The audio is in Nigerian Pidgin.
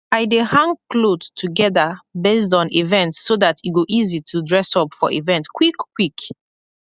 i dey hang kloth togeda based on event so dat e go easy to dress up for event kwikkwik